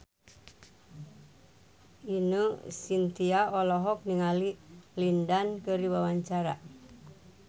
Ine Shintya olohok ningali Lin Dan keur diwawancara